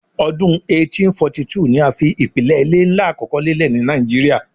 Ọdun 1842 ni a fi ipilẹ ile nla akọkọ lelẹ ni Naijiria